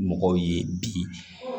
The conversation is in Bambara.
Mɔgɔw ye bi